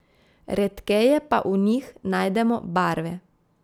Redkeje pa v njih najdemo barve.